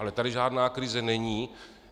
Ale tady žádná krize není.